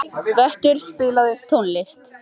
Vöttur, spilaðu tónlist.